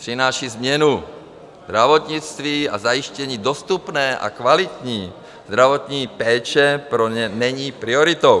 Přináší změnu zdravotnictví a zajištění dostupné a kvalitní zdravotní péče pro ni není prioritou.